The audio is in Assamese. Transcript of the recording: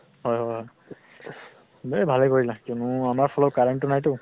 হয় হয় । দে ভালেই কৰিলা । কিমান আমাৰ floor ৰ current ও নাই তো ।